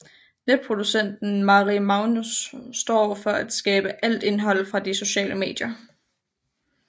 Netproducenten Mari Magnus står for at skabe alt indhold fra de sociale medier